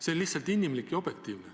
See on lihtsalt inimlik ja objektiivne.